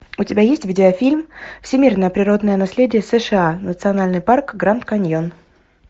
у тебя есть видеофильм всемирное природное наследие сша национальный парк гранд каньон